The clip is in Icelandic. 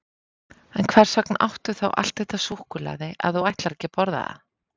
En hvers vegna áttu þá allt þetta súkkulaði ef þú ætlar ekki að borða það?